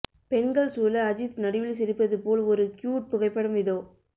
பெண்கள் சூழ அஜித் நடுவில் சிரிப்பது போல் ஒரு கியூட் புகைப்படம் இதோ